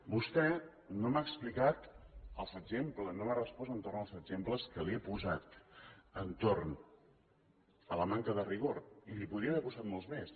vostè no m’ha explicat els exemples no m’ha respost a l’entorn dels exemples que li he posat de la manca de rigor i li’n podria haver posat molts més